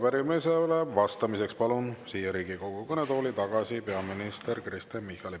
Ja arupärimisele vastamiseks palun siia Riigikogu kõnetooli tagasi peaminister Kristen Michali.